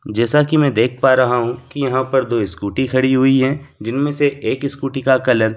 जैसा कि मैं देख पा रहा हूँ कि यहां पर दो स्कूटी खड़ी हुई हैं जिनमें से एक स्कूटी का कलर --